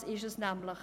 Das ist es nämlich.